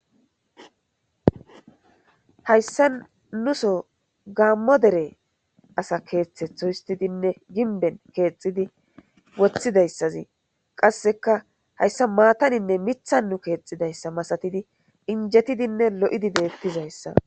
Hayssa nuso gaammo dere asa keeththethohistidinne ginben keexxidi wothidayssazii qasseka hayssa maataninne mithannu keexidayssa masatidi injetidinne lo'idi deettizayssa.